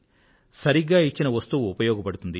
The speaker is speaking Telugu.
సరిగ్గా ఇచ్చిన వస్తువు ఉపయోగపడుతుంది